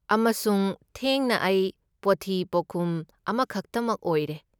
ꯑꯃꯁꯨꯡ ꯊꯦꯡꯅ, ꯑꯩ ꯄꯣꯠꯊꯤ ꯄꯣꯠꯀꯨꯝ ꯑꯃꯈꯛꯇꯃꯛ ꯑꯣꯏꯔꯦ!